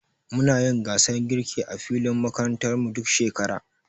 Muna yin gasar girki a filin makarantar mu, duk shekara.